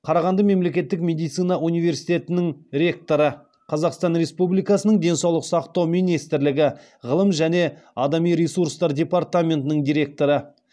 қарағанды мемлекеттік медицина университетінің ректоры қазақстан республикасының денсаулық сақтау министрлігі ғылым және адами ресурстар департаментінің директоры